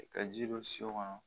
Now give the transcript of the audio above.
Ka ji don so kɔnɔ